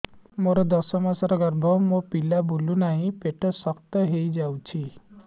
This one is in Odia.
ମୋର ଦଶ ମାସର ଗର୍ଭ ମୋ ପିଲା ବୁଲୁ ନାହିଁ ପେଟ ଶକ୍ତ ହେଇଯାଉଛି